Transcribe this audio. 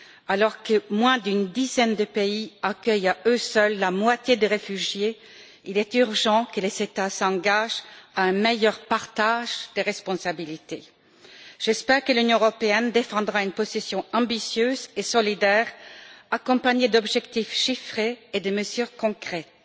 Alors que moins d'une dizaine de pays accueillent à eux seuls la moitié des réfugiés, il est urgent que les États s'engagent à un meilleur partage des responsabilités. J'espère que l'Union européenne défendra une position ambitieuse et solidaire accompagnée d'objectifs chiffrés et de mesures concrètes.